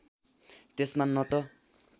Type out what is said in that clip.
त्यसमा न त